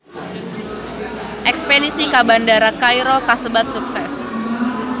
Espedisi ka Bandara Kairo kasebat sukses